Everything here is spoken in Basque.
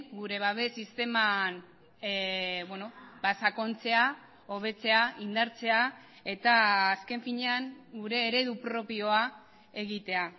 gure babes sisteman sakontzea hobetzea indartzea eta azken finean gure eredu propioa egitea